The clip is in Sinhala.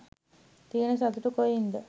තියන සතුට කොයින්ද?